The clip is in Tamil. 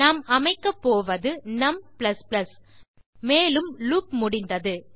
நாம் அமைக்கப்போவது நும் மேலும் லூப் முடிந்தது